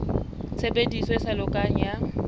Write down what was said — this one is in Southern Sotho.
tshebediso e sa lokang ya